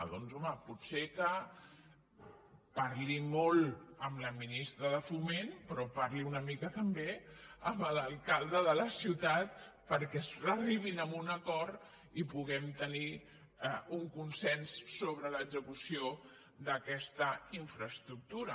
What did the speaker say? doncs home pot ser que parli molt amb la ministra de foment però parli una mica també amb l’alcalde de la ciutat perquè arribin a un acord i puguem tenir un consens sobre l’execució d’aquesta infraestructura